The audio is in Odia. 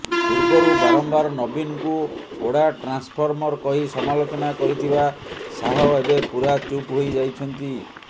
ପୂର୍ବରୁ ବାରମ୍ବାର ନବୀନଙ୍କୁ ପୋଡ଼ା ଟ୍ରାନ୍ସଫର୍ମର କହି ସମାଲୋଚନା କରିଥିବା ଶାହ ଏବେ ପୁରା ଚୁପ୍ ହୋଇଯାଇଛନ୍ତି